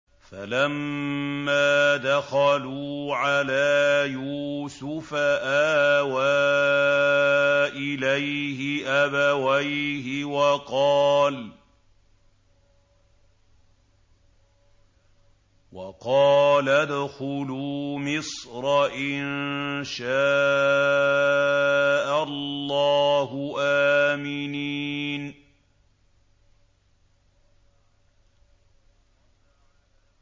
فَلَمَّا دَخَلُوا عَلَىٰ يُوسُفَ آوَىٰ إِلَيْهِ أَبَوَيْهِ وَقَالَ ادْخُلُوا مِصْرَ إِن شَاءَ اللَّهُ آمِنِينَ